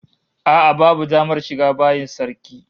A'a babu damar shiga bayin sarki